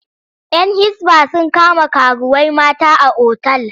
‘Yan Hisba sun kama karuwai mata a otal.